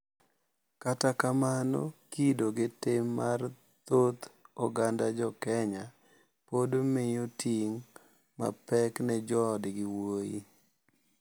Kata kamano kido gi tim mar thoth oganda joKenya pod miyo ting` mapek ne joodgi wuoyi.